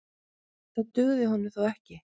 Það dugði honum þó ekki.